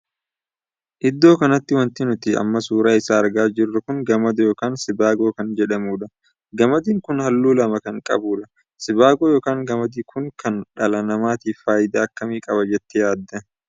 Iddoo kanatti wanti nuti amma suuraa isaa argaa jirru kun gamadaa ykn sibaagoo kan jedhamudha. gamadi kun halluu lama kan qabudha. sibaagoon ykn gamadi Kun dhala namaatiif faayidaa akkamii qaba jettee yaadda?